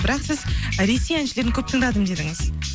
бірақ сіз ресей әншілерін көп тыңдадым дедіңіз